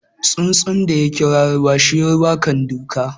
Tsuntsun daya kira ruwa, shi ruwa kan duka.